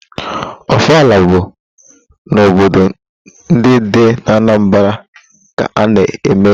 Ọfala bụ n'obodo ndị dị n'Anambara ka a na-eme ya.